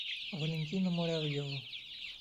валентина муравьева